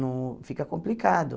Não fica complicado.